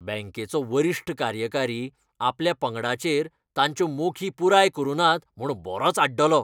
बँकेचो वरिश्ठ कार्यकारी आपल्या पंगडाचेर तांच्यो मोखी पुराय करु नात म्हूण बरोच आड्डलो.